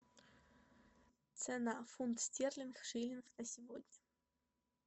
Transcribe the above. цена фунт стерлинг шиллинг на сегодня